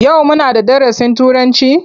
Yau muna da darasin Turanci?